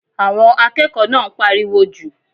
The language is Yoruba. Àwọn akẹ́kọ̀ọ́ náà ń pariwo jù.